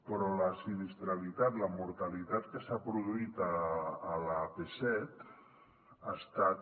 però la sinistralitat la mortalitat que s’ha produït a l’ap set ha estat